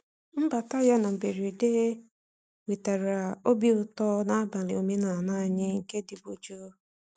Mbata ya na mberede wetara obi ụtọ n’abalị omenala anyị nke dịbu jụụ.